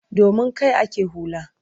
Domin kai ake hula.